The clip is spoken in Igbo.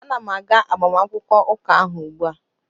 Ana m aga agbamakwụkwọ ụka ahụ ugbua